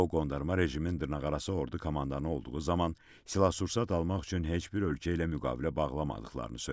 O qondarma rejimin dırnaqarası ordu komandanı olduğu zaman silah-sursat almaq üçün heç bir ölkə ilə müqavilə bağlamadıqlarını söylədi.